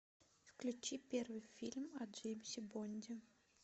включи первый фильм о джеймсе бонде